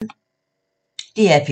DR P2